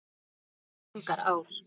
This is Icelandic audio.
Þar renna engar ár.